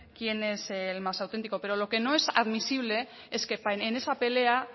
quién es el más auténtico pero lo que no es admisible es que en esa pelea